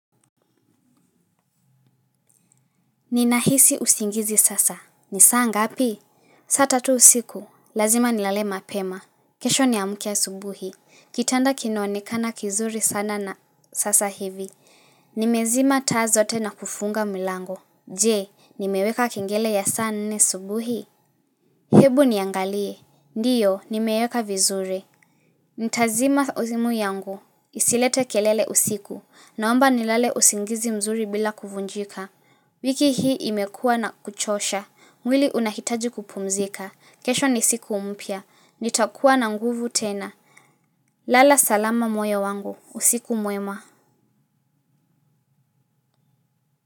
Ninahisi usingizi sasa. Ni saa ngapi? Saa tatu usiku. Lazima nilale mapema. Kesho niamuke asubuhi. Kitandaa kinoanekana kizuri sana sasa hivi. Nimezima taa zote na kufunga milango. Je, nimeweka kingele ya saa nne asubuhi. Hebu niangalie. Ndiyo, nimeweka vizuri. Ntazima simu yangu. Isilete kelele usiku. Naomba nilale usingizi mzuri bila kuvunjika. Wiki hii imekuwa na kuchosha. Mwili unahitaji kupumzika. Kesho ni siku mpya. Nitakuwa na nguvu tena. Lala salama moyo wangu. Usiku mwema.